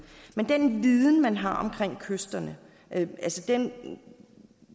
men den viden man har om kysterne altså den